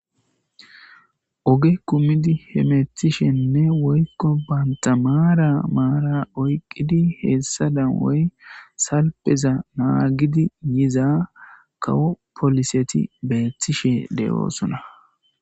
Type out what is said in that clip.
oge kumidi hemethishenne woykko bantamaara maara oyqqidi heessa dan woy salpeza naagidi yiza kawo poliseti beeththishe le7oosona